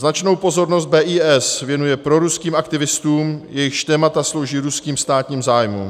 Značnou pozornost BIS věnuje proruským aktivistům, jejichž témata slouží ruským státním zájmům.